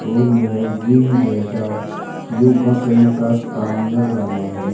और यह जिम जैसा योगा करण का स्थान लग रहा है।